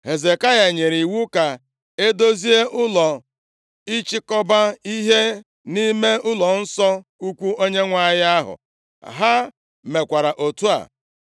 Hezekaya nyere iwu ka e edozie ụlọ ịchịkọba ihe nʼime ụlọnsọ ukwu Onyenwe anyị ahụ. Ha mekwara otu a.